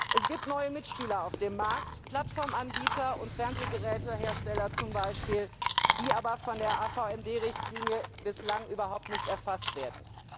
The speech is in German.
Es gibt neue Mitspieler auf dem Markt, Plattformanbieter und Fernsehgerätehersteller zum Beispiel, die aber von der AVMD Richtlinie bislang überhaupt nicht erfasst werden.